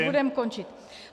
Už budeme končit.